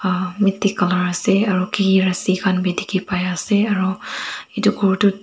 colour ase aro kiki rasi khan bi dikhipaiase aro edu khor tu.